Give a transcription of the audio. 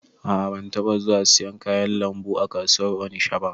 A'a ban taba zuwa siyan kayan lambu a kasuwar onisha ba